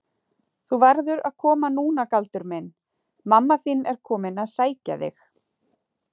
Þú verður að koma núna Galdur minn, mamma þín er komin að sækja þig.